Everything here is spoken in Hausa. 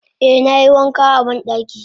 Eh nayi wanka a bandaki.